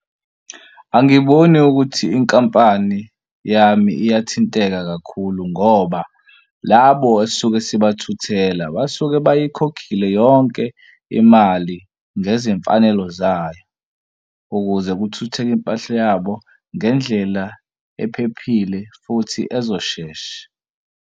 Angiboni ukuthi inkampani yami iyathinteka kakhulu ngoba labo esisuke singabathuthela basuke beyikhokhile yonke imali ngezimfanelo zayo ukuze kuthuthuke impahla yabo ngendlela ephephile futhi ezoshesha.